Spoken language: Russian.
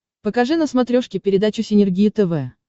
покажи на смотрешке передачу синергия тв